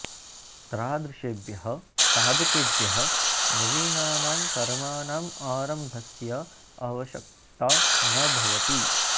तादृशेभ्यः साधकेभ्यः नवीनानां कर्मणाम् आरम्भस्य आवश्यकता न भवति